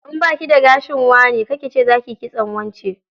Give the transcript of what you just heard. In baki da gashin wane, kar ki ce zakiyi kitson wance.